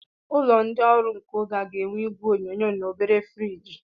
Ụlọ ndị ọrụ nke oge a ga-enwe igwe onyonyo na obere friji.